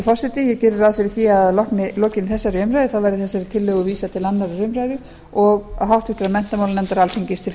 forseti ég geri ráð fyrir því að að lokinni þessari umræðu verði þessari tillögu vísað til annarrar umræðu og háttvirtur menntamálanefndar alþingis til